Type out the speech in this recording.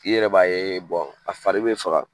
I yɛrɛ b'a ye a fari be faga.